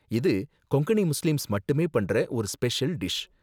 இது கொங்கணி முஸ்லிம்ஸ் மட்டுமே பண்ற ஒரு ஸ்பெஷல் டிஷ்.